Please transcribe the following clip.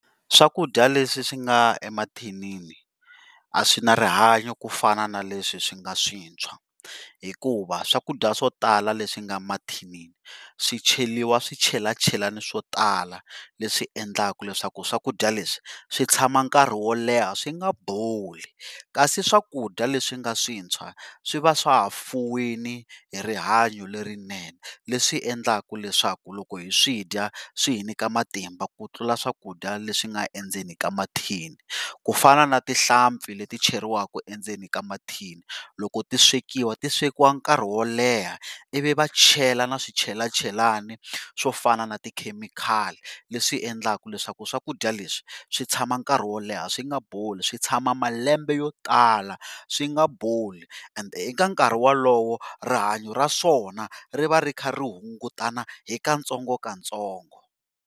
Swakudya leswi swi nga le mathinini a swi na rihanyo ku fana na leswi swi nga swintshwa hikuva, swakudya swo tala leswi nga mathinini swicheriwa swichelachelani swo tala leswi endlaka leswaku swakudya leswi swi tshama nkarhi wo leha swi nga boli. Kasi swakudya leswi nga swintshwa swi va swa ha fuwini hi rihanyo lerinene leswi endlaku leswaku loko hi swidya swi hi nyika matimba ku tlula swakudya leswi nga endzeni ka mathini. Ku fana na tihlampfi leti cheriwaku endzeni ka mathini loko ti swekiwa ti swekiwa nkarhi wo leha ivi va chela na swichelachelani swo fana na ti chemical leswi endlaku leswaku swakudya leswi swi tshama nkarhi wo leha swi nga boli, swi tshama malembe yo tala swi nga boli and eka nkarhi walowo rihanyo ra swona ri va ri ri kha ri hungutana hi ka ntsongo ka ntsongo.